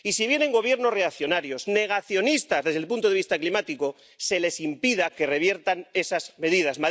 Y si vienen Gobiernos reaccionarios, negacionistas desde el punto de vista climático, se les impida que reviertan esas medidas.